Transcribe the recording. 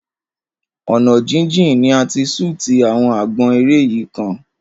Ọ̀nà jíjìn ni a ti ṣútì àwọn àgbọn eré yìí kan.